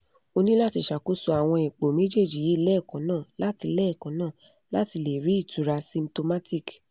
o ní láti ṣakoso àwọn ipò méjèèjì yìí lẹ́ẹ̀kan náà láti lẹ́ẹ̀kan náà láti lè rí ìtura symptomatic